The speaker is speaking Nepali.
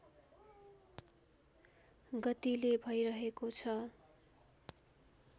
गतिले भइरहेको छ